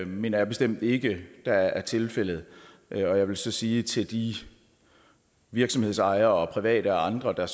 mener jeg bestemt ikke er er tilfældet jeg vil så sige til de virksomhedsejere private og andre der